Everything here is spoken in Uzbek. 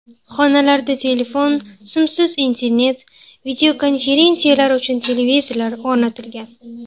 Xonalarda telefon, simsiz internet, videokonferensiyalar uchun televizorlar o‘rnatilgan.